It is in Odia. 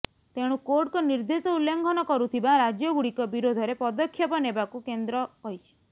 ତେଣୁ କୋର୍ଟଙ୍କ ନିର୍ଦ୍ଦେଶ ଉଲ୍ଲଂଘନ କରୁଥିବା ରାଜ୍ୟଗୁଡ଼ିକ ବିରୋଧରେ ପଦକ୍ଷେପ ନେବାକୁ କେନ୍ଦ୍ର କହିଛି